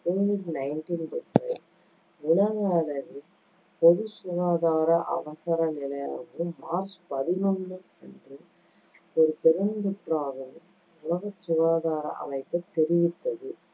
covid nineteen தொற்றை உலக அளவில் பொது சுகாதார அவசரநிலையாகவும், மார்ச் பதினொண்ணு அன்று ஒரு பெருந்தொற்றாகவும் உலக சுகாதார அமைப்பு தெரிவித்தது.